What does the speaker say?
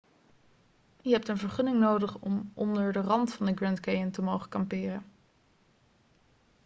je hebt een vergunning nodig om onder de rand van de grand canyon te mogen kamperen